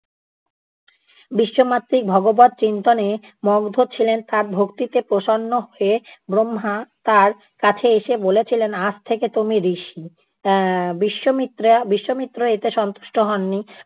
বিশ্বামিত্র ভগবৎ চিন্তনে মগ্ন ছিলেন, তার ভক্তিতে প্রসন্ন হয়ে ব্রহ্মা তার কাছে এসে বলেছিলেন আজ থেকে তুমি ঋষি। এ্যা বিশ্বমিত্রা~ বিশ্বামিত্র এতে সন্তুষ্ট হননি।